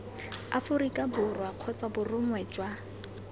aforika borwa kgotsa borongwa jwa